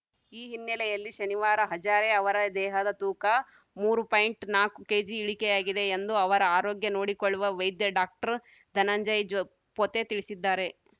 ಈ ಹಿನ್ನೆಲೆಯಲ್ಲಿ ಶನಿವಾರ ಹಜಾರೆ ಅವರ ದೇಹದ ತೂಕ ಮೂರು ಪಾಯಿಂಟ್ ನಾಲ್ಕು ಕೇಜಿ ಇಳಿಕೆಯಾಗಿದೆ ಎಂದು ಅವರ ಆರೋಗ್ಯ ನೋಡಿಕೊಳ್ಳುವ ವೈದ್ಯ ಡಾಕ್ಟರ್ಧನಂಜಯ್‌ ಜೋ ಪೋತೆ ತಿಳಿಸಿದ್ದಾರೆ